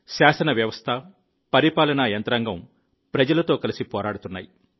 శాసన వ్యవస్థ పరిపాలనా యంత్రాంగం ప్రజలతో కలిసి పోరాడుతున్నాయి